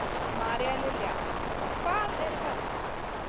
María Lilja: Hvar er verst?